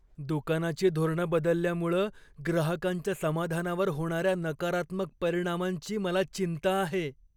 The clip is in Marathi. दुकानाची धोरणं बदलल्यामुळं ग्राहकांच्या समाधानावर होणाऱ्या नकारात्मक परिणामांची मला चिंता आहे.